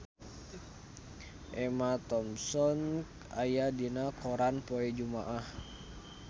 Emma Thompson aya dina koran poe Jumaah